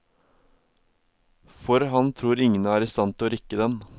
For han tror ingen er i stand til å rikke den.